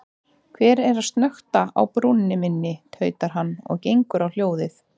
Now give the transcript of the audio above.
Hver er að snökta á brúnni minni, tautar hann og gengur á hljóðið.